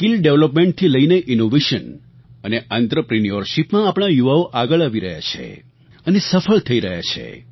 skill ડેવલપમેન્ટથી લઈને innovation અને આંત્રપ્રિન્યૉરશિપમાં આપણા યુવાઓ આગળ આવી રહ્યાં છે અને સફળ થઈ રહ્યાં છે